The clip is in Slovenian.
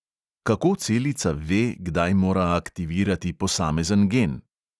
Kako celica "ve", kdaj mora aktivirati posamezen gen?